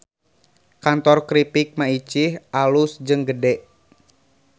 Kantor Kripik Maicih alus jeung gede